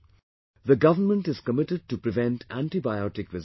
The government is committed to prevent antibiotic resistance